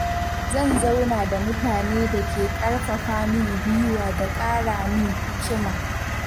Zan zauna da mutane da ke ƙarfafa min gwiwa da ƙara min hikima.